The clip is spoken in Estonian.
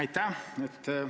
Aitäh!